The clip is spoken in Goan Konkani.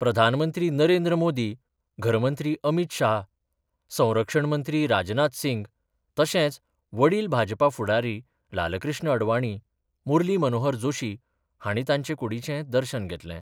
प्रधानमंत्री नरेंद्र मोदी, घरमंत्री अमित शाह, संरक्षण मंत्री राजनाथ सिंग, तशेंच वडील भाजपा फुडारी लालकृष्ण अडवाणी, मुरली मनोहर जोशी हांणी तांचे कुडीचें दर्शन घेतलें.